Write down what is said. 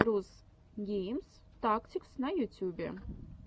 рус гейм тактикс на ютюбе